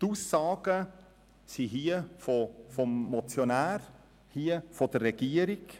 Wir haben auf der einen Seite die Aussagen des Motionärs und auf der anderen Seite diejenigen der Regierung.